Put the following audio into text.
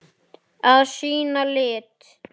Að sýna lit.